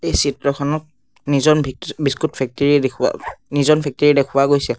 চিত্ৰখনত নিজ'ন ভিত্ৰি বিস্কুট ফেক্টৰী দেখুওৱা নিজ'ন ফেক্টৰী দেখুওৱা গৈছে।